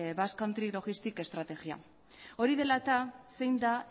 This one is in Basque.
logistics estrategia hori dela eta zein da